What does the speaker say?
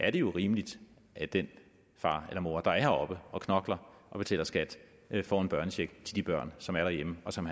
er det jo rimeligt at den far eller mor der er heroppe og knokler og betaler skat får en børnecheck til de børn som er derhjemme og som